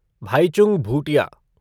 Bhaichung Bhutia